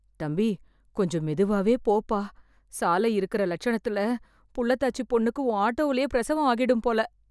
தம்பி, கொஞ்சம் மெதுவாவே போப்பா... சாலை இருக்கற லட்சணத்துல புள்ளத்தாச்சிப் பொண்ணுக்கு உன் ஆட்டோவிலேயே பிரசவம் ஆகிடும்போல.